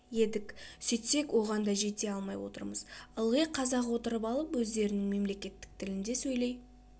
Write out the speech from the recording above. едік сөйтсек оған да жете алмай отырмыз ылғи қазақ отырып алып өздерінің мемлекеттік тілінде сөйлей